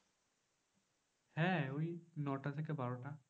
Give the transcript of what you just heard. হ্যাঁ ওই নটা থেকে বারোটা।